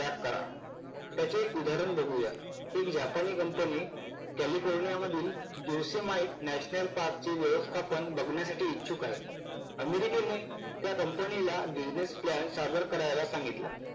त्याग करा. त्याचे एक उदाहरण बघूया. एक जापानी कंपनी california मधूनपार्कचे व्यवस्थापन बघण्यासाठी इच्छुक आहे. अमेरिकेने त्या कंपनीला business plan सदर करायला सांगितला.